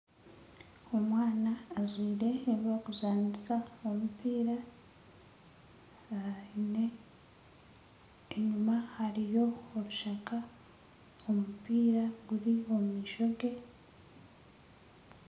Omwana ajwaire ebyokuzanisa omupiira aine enyuma hariyo orushaka omupiira guri omu maisho ge